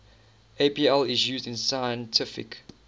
apl is used in scientific